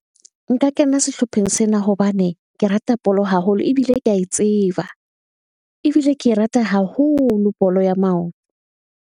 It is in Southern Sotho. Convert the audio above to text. Nka kena sehlopheng sena hobane ke rata bolo haholo, ebile ke ae tseba. Ebile ke e rata haholo bolo ya maoto.